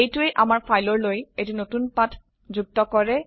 এইটোৱে আমাৰ ফাইলৰলৈ এটি নতুন পাত যুক্ত কৰে